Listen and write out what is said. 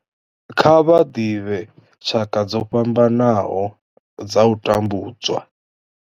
Kha vha ḓivhe tshaka dzo fhambanaho dza u tambudzwa.